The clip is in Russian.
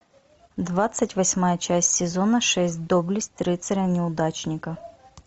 двадцать восьмая часть сезона шесть доблесть рыцаря неудачника